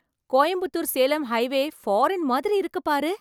Coimbatore Salem highway foreign மாதிரி இருக்குது பாரு!